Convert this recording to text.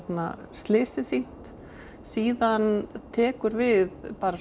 slysið sýnt síðan tekur við bara